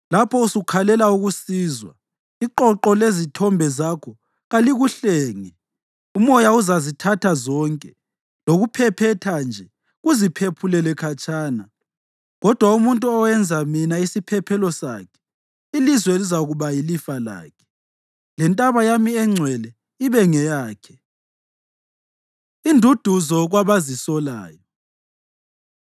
Lapho usukhalela ukusizwa, iqoqo lezithombe zakho kalikuhlenge. Umoya uzazithatha zonke, lokuphephetha nje kuziphephulele khatshana. Kodwa umuntu owenza mina isiphephelo sakhe ilizwe lizakuba yilifa lakhe lentaba yami engcwele ibe ngeyakhe.” Induduzo Kwabazisolayo